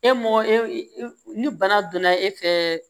E mɔgɔ e e ni bana donna e fɛ